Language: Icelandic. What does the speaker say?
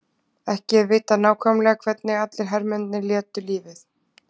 Ekki er vitað nákvæmlega hvernig allir hermennirnir létu lífið.